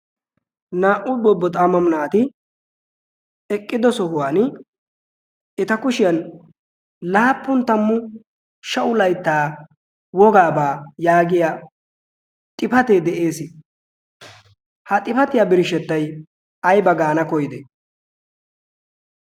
Naa"u bobbo xaamamu naati eqqido sohuwan eta kushiyan laappun tammu sha'u laittaa wogaabaa' yaagiya xifatee de'ees. ha xifatiyaa birshshettai ayba gaana koyide?